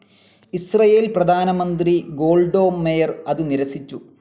Israel പ്രധാനമന്ത്രി Golda Meir അത് നിരസിച്ചു.